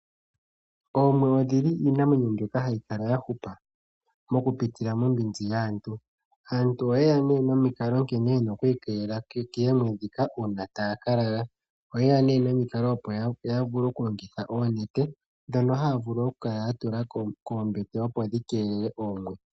Oomwe odhili iinamwenyo mbyoka hayi kala ya hupa mokupitila mombinzi yaantu. Aantu oyeya po nee nomikalo nkene yena oku ikeelela koomwe ndhika uuna taya ka lala. Oyeya nee nomikalo opo ya vule okulongitha oonete ndhoka haya kala ya tula koombete opo dhikeelele oomwe.